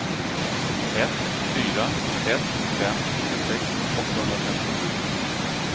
ett fyra ett fem tjugosex åttahundrafemtiosju